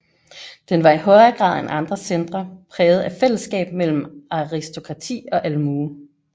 Den var i højere grad end andre centre præget af et fællesskab mellem aristokrati og almue